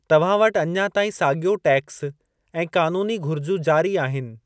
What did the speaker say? तव्हां वटि अञा ताईं साॻियो टैक्स ऐं क़ानूनी घुरिजूं जारी आहिनि।